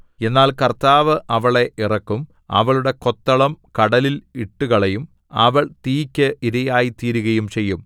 എന്നാൽ കർത്താവ് അവളെ ഇറക്കും അവളുടെ കൊത്തളം കടലിൽ ഇട്ടുകളയും അവൾ തീക്ക് ഇരയായ്തീരുകയും ചെയ്യും